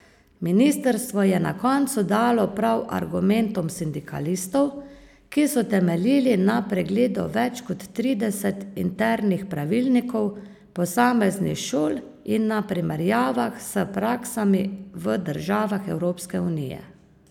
Ministrstvo je na koncu dalo prav argumentom sindikalistov, ki so temeljili na pregledu več kot trideset internih pravilnikov posameznih šol in na primerjavah s praksami v državah Evropske unije.